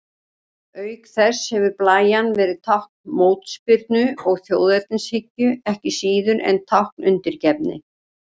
Auk þess hefur blæjan verið tákn mótspyrnu og þjóðernishyggju, ekki síður en tákn undirgefni.